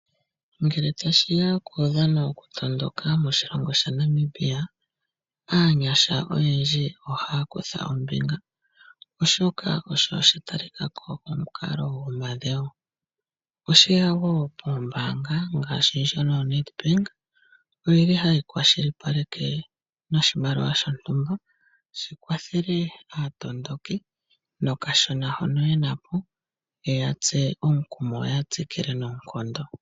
Ngele tashi ya kuudhano wokutondoka moshilongo shaNamibia, aanyasha oyendji ohaya kutha ombinga, oshoka osho sha talika ko omukalo gomadhewo. Oombaanga ngaashi ndjono yaNedbank ohayi kwashilipaleke noshimaliwa shontumba shi kwathele aatondoki nokashona hono ye na po, ye ya tse omukumo yo ya tsikile noonkondo.